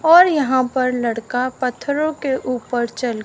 और यहां पर लड़का पत्थरों के ऊपर चल--